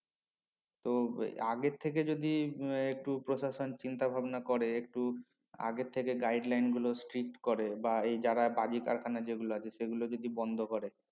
তো আগে থেকে যদি আহ একটু প্রশাসন চিন্তা ভাবনা করে একটু আগে থেকে guideline গুলো state করে বা যারা বাজি কারখানা আছে সে গুলো যদি বন্ধ করে